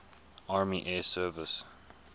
army air service